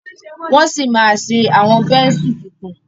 wón sí má ṣe Awọn Bẹ́ńsù títún.